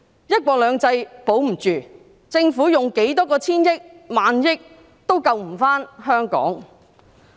"一國兩制"保不住，政府用多少個千億元或萬億元也救不回香港。